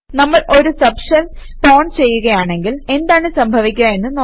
നമ്മൾ ഒരു subshell spawn ചെയ്യുകയാണെങ്കിൽ എന്താണ് സംഭവിക്കുക എന്ന് നോക്കാം